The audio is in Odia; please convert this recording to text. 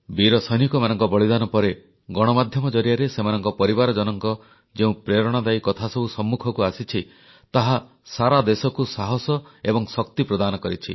ବୀର ସୈନିକମାନଙ୍କ ବଳିଦାନ ପରେ ଗଣମାଧ୍ୟମ ଜରିଆରେ ସେମାନଙ୍କ ପରିବାରଜନଙ୍କ ଯେଉଁ ପ୍ରେରଣାଦାୟୀ କଥାସବୁ ସମ୍ମୁଖକୁ ଆସିଛି ତାହା ସାରା ଦେଶକୁ ସାହସ ଏବଂ ଶକ୍ତି ପ୍ରଦାନ କରିଛି